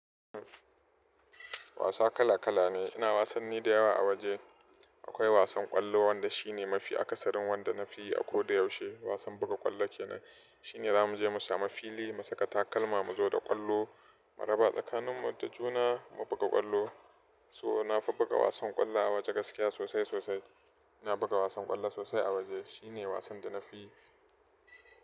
Wasa kala kala ne. Ina wasanni da yawa a waje. Akwai wasan ƙwallo wanda shi ne mafi akasarin wanda nafi yi a ko da yaushe. Wasan buga ƙwallo kenan. Shine zamu je mu samu fili, mu saka takalma, mu zo da ƙwallo, mu raba tsakanin mu da juna, mu buga ƙwallo. So nafi buga wasan ƙwallo a waje gaskiya sosai sosai. Nafi buga wasan ƙwallo sosai a waje. Shine wasan da nafi yi.